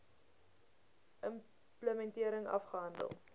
im plementering afgehandel